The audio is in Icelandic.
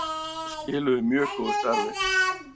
Skiluðu mjög góðu starfi